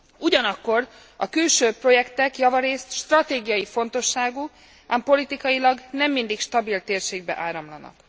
Ugyanakkor a külső projektek javarészt stratégiai fontosságú, ám politikailag nem mindig stabil térségbe áramlanak.